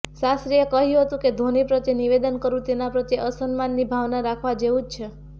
શાસ્ત્રીએ કહ્યું હતું કે ધોની પ્રત્યે નિવેદન કરવું તેના પ્રત્યે અસન્માનની ભાવના રાખવા જેવું છે